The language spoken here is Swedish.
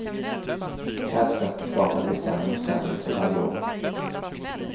Världsmästerskapen blir sämre och sämre, för varje år.